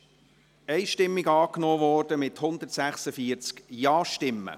Die Motion wurde einstimmig angenommen, mit 146 Ja-Stimmen.